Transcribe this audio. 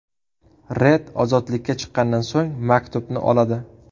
Red ozodlikka chiqqandan so‘ng maktubni oladi.